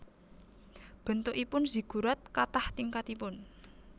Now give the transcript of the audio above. Bentukipun Ziggurat katah tingkatipun